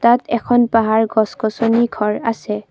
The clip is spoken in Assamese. ইয়াত এখন পাহাৰ গছ গছনি ঘৰ আছে।